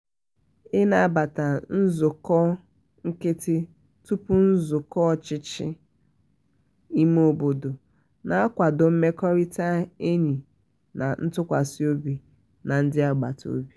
inabata nzụkọ nkịtị tupu nzukọ ochichi ime obodo na-akwado mmekọrịta enyi na ntụkwasị obi na ndi agbata obi.